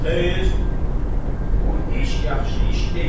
Xeyr, bu iş yaxşı iş deyil.